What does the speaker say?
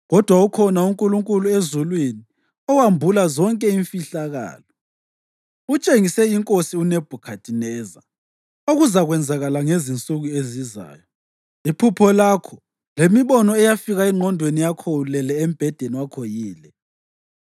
kodwa ukhona uNkulunkulu ezulwini owambula zonke imfihlakalo. Utshengise inkosi uNebhukhadineza okuzakwenzakala ngezinsuku ezizayo. Iphupho lakho lemibono eyafika engqondweni yakho ulele embhedeni wakho yile: